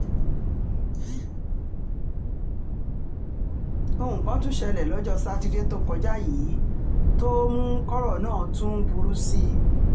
ohun kan tún ṣẹlẹ̀ lọ́jọ́ sátidé tó kọjá yìí tó um mú kọ́rọ̀ náà tún um burú sí i